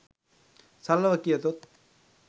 සරලව කියතොත්